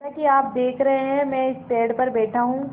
जैसा कि आप देख रहे हैं मैं इस पेड़ पर बैठा हूँ